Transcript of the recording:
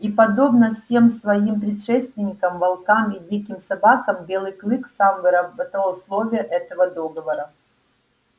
и подобно всем своим предшественникам волкам и диким собакам белый клык сам выработал условия этого договора